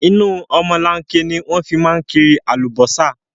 Inú ọmọlanke ni wọn fi máa ń kiri Alubọ́sá